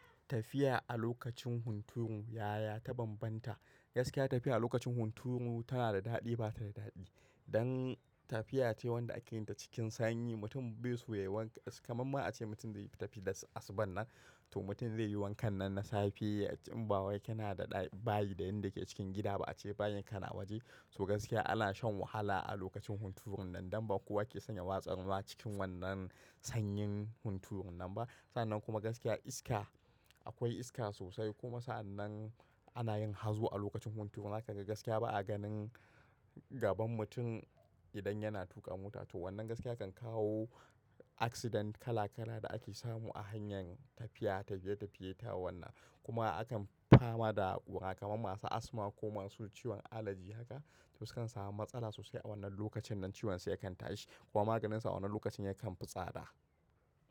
Tafiya a lokacin hunturu yaya ta banbanta? Gaskiya tafiya a lokacin hunturu tana da daɗi bata da daɗi. Dan tafiya ce wanda ake yin ta cikin sanyi, mutum bai so yayi wanka, kaman ma ace mutum zai yi tafiya da asuba nan, to mutum zai yi wankan nan na safe in ba wai kana da bayi da inda ke cikin gida ba ace bayin ka na waje. To gaskiya ana shan wahala a lokacin hunturun nan dan ba kowa ke son ya watsa ruwa cikin wannan sanyin hunturun nan ba. Sa'annan kuma gaskiya iska akwai iska sosai kuma sa'annan ana yin hazo a lokacin hunturu. Za ka ga gaskiya ba a ganin gaban mutum idan yana tuƙa mota. To wannan gaskiya kan kawo accident kala kala da ake samu a hanyar tafiya, tafiye tafiyeta wannan kuma akan fama da ƙura kamar masu asma ko masu ciwon allergy haka. To su kan samu matsala sosai a wannan lokacin nan ciwon su ya kan tashi kuma maganin su a wannan lokacin ya kan fi tsada.